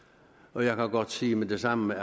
og jeg kan godt sige med det samme